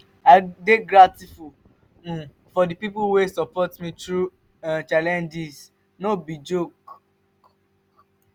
i dey grateful um for di pipo wey support me through um challenges no um be joke.